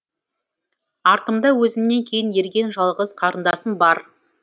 артымда өзімнен кейін ерген жалғыз қарындасым бар